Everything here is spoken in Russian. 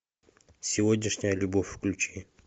сегодняшняя любовь включи